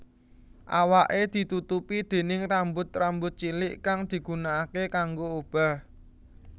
Awaké ditutupi déning rambut rambut cilik kang digunaake kanggo obah